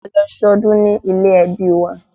A lọ sọdún ní ilé-ẹbí wa